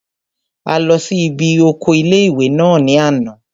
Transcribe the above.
A lọ sí ibi oko ilé-ìwé náà ní àná